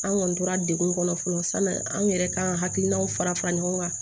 An kɔni tora degun kɔnɔ fɔlɔ sanni an yɛrɛ kan ka hakilinaw fara fara ɲɔgɔn kan